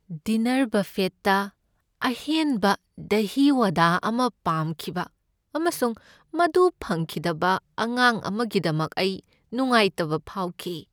Dinner ꯕꯐꯦꯠꯇ ꯑꯍꯦꯟꯕ ꯗꯥꯍꯤ ꯋꯥꯗꯥ ꯑꯃ ꯄꯥꯝꯈꯤꯕ ꯑꯃꯁꯨꯡ ꯃꯗꯨ ꯐꯪꯈꯤꯗꯕ ꯑꯉꯥꯡ ꯑꯃꯒꯤꯗꯃꯛ ꯑꯩ ꯅꯨꯡꯉꯥꯏꯇꯕ ꯐꯥꯎꯈꯤ ꯫